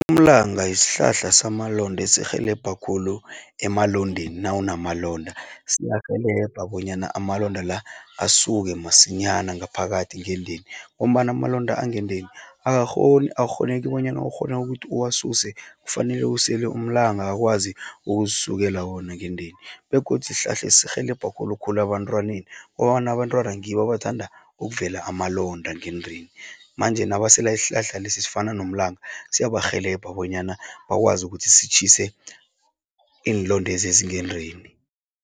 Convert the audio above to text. Umlanga yisihlahla samalonda esirhelebha khulu emalondeni, nawunamalonda. Siyarhelebha bonyana amalonda la, asuke masinyana ngaphakathi ngendeni. Ngombana amalonda angendeni, Akukghoneki bonyana ukghone ukuthi uwasuse, kufanele usele umlanga akwazi ukusukela wona ngendeni, begodu isihlahla sirhelebha khulukhulu ebantwaneni, ngombana abantwana ngibo abathanda ukuvela amalonda ngendeni. Manje nabasele isihlahla lesi esifana nomlanga siyabarhelebha bonyana bakwazi ukuthi sitjhise iinlondezi ezingendeni.